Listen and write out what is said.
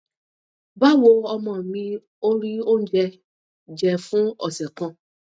bawo omo mi ò rí oúnjẹ jẹ fún ọsẹ kan